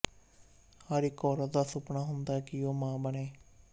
ਹਰ ਇੱਕ ਔਰਤ ਦਾ ਸੁਪਨਾ ਹੁੰਦਾ ਹੈ ਕਿ ਉਹ ਮਾਂ ਬਣੇ